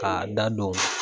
K'a da don